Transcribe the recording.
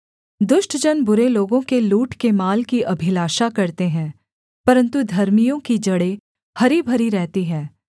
दुष्ट जन बुरे लोगों के लूट के माल की अभिलाषा करते हैं परन्तु धर्मियों की जड़ें हरी भरी रहती है